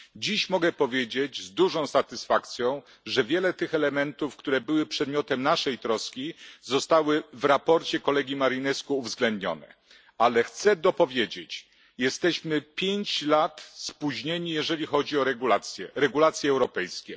Dziś mogę powiedzieć z dużą satysfakcją, że wiele tych elementów, które były przedmiotem naszej troski, zostało w sprawozdaniu kolegi Marinescu uwzględnionych, ale chcę dopowiedzieć jesteśmy 5 lat spóźnieni, jeżeli chodzi o regulacje europejskie.